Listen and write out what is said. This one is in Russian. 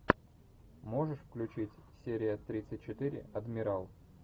можешь включить серия тридцать четыре адмирал